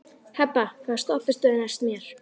Hebba, hvaða stoppistöð er næst mér?